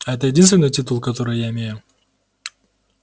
это единственный титул который я имею